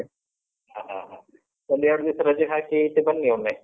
ಹಾ, ಹಾ, ಹ. ಒಂದೆರಡು ದಿವ್ಸ ರಜೆ ಹಾಕಿ ಈಚೆ ಬನ್ನಿ ಒಮ್ಮೆ.